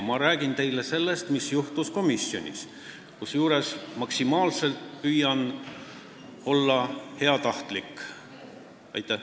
Ma räägin teile sellest, mis juhtus komisjonis, kusjuures püüan maksimaalselt heatahtlik olla.